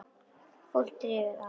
Fólk drífur að.